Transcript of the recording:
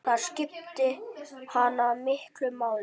Það skipti hana miklu máli.